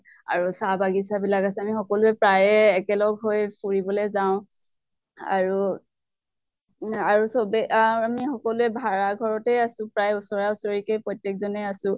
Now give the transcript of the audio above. আৰু চাহ বাগিছা বিলাক আছে । আমি সকলোয়ে প্ৰায়ে একেলগ হৈ ফুৰিবলৈ যাওঁ। আৰু আৰু চবে আহ আমি সকলোয়ে ভাড়া ঘৰতে আছো, প্ৰায়ে ওচৰা ওচৰিকে প্ৰত্য়েক জনে আছো